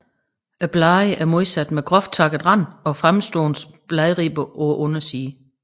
Bladene er modsatte med groft takket rand og fremstående bladribber på undersiden